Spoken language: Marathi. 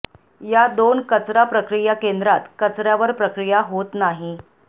या दोन कचरा प्रक्रिया केंद्रात कचऱ्यावर प्रक्रिया होत नाही